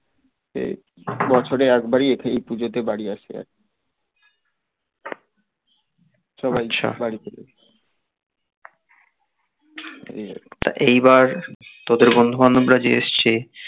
এ বছরে একবারই এই পুজোতে বাড়ি আসে সবাই বাড়ি এইবার তোদের বন্ধু বান্ধব রা যে এসছে